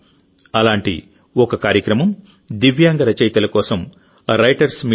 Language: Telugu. అలాంటి ఒక కార్యక్రమం దివ్యాంగ రచయితల కోసం రైటర్స్ మీట్ నిర్వహణ